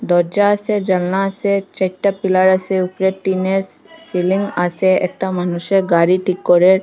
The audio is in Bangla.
দরজা আসে জানলা আসে চাইরটা পিলার আছে উপরে টিনের সিলিং আছে একটা মানুষে গাড়ি ঠিক করে।